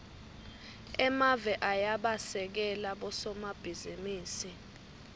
emave ayabasekela bosomabhizinisi